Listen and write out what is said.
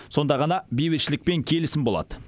сонда ғана бейбітшілік пен келісім болады